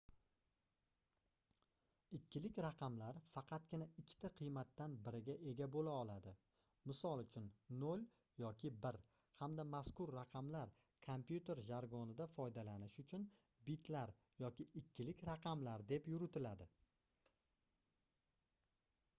ikkilik raqamlar faqatgina ikkita qiymatdan biriga ega boʻla oladi misol uchun 0 yoki 1 hamda mazkur raqamlar kompyuter jargonida foydalanish uchun bitlar yoki ikkilik raqamlar deb yuritiladi